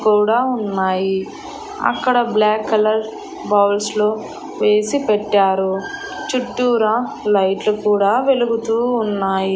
కూడా ఉన్నాయి అక్కడ బ్లాక్ కలర్ బౌల్స్ లో వేసి పెట్టారు చుట్టూరా లైట్లు కూడా వెలుగుతూ ఉన్నాయి.